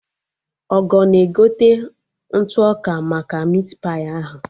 Ogo na-egote ntụ ọka maka mit pai ahụ